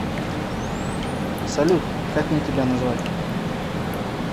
салют как мне тебя назвать